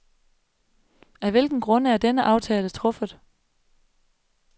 Af hvilke grunde er denne aftale truffet?